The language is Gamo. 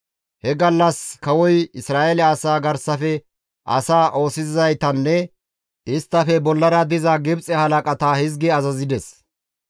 He gallas kawoy Isra7eele asaa garsafe asaa oosisizaytanne isttafe bollara diza Gibxe halaqata hizgi azazides.